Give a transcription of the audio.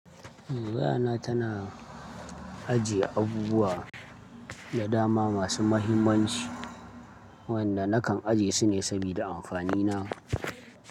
Wayana tana ajiye abubuwa da dama masu muhimmanci wanda nakan ajiye sune sabida amfani na.